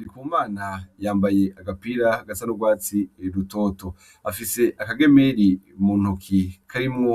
Ndikumana yambaye agapira gasa n'urwatsi rutoto .Afise akagemeri mu ntoki karimwo